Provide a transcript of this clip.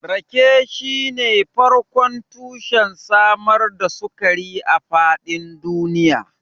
Rake shine farkon tushen samar da sukari a faɗin duniya.